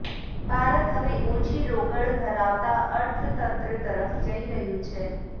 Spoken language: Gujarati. ભારત હવે ઓછી રોકડ ધરાવતા અર્થતંત્ર તરફ જઇ રહ્યું છે